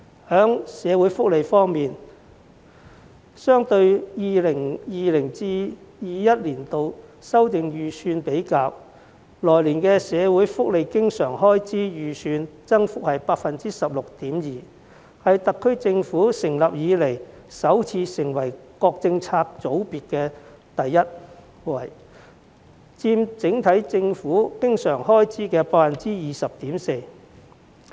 在社會福利方面，與 2020-2021 年度修訂預算比較，來年社會福利經常開支預算的增幅為 16.2%， 是特區政府成立以來首次位列各政策組別的首位，佔整體政府經常開支的 20.4%。